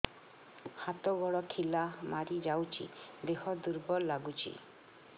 ହାତ ଗୋଡ ଖିଲା ମାରିଯାଉଛି ଦେହ ଦୁର୍ବଳ ଲାଗୁଚି